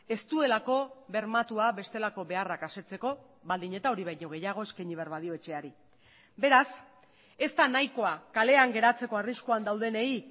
ez duelako bermatua bestelako beharrak asetzeko baldin eta hori baino gehiago eskaini behar badio etxeari beraz ez da nahikoa kalean geratzeko arriskuan daudenei